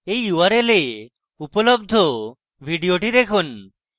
এই url এ উপলব্ধ video দেখুন